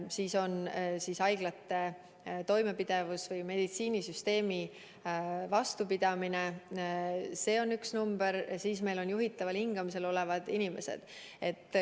Veel on haiglate toimepidevus ehk meditsiinisüsteemi vastupidamine – see on ka üks number, nagu ka juhitaval hingamisel olevad inimesed.